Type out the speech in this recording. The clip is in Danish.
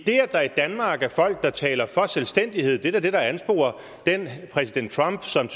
det at der i danmark er folk der taler for selvstændighed er da det der ansporer den præsident trump som